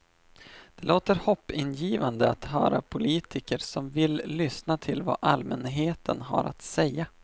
Det låter hoppingivande att höra politiker som vill lyssna till vad allmänheten har att säga.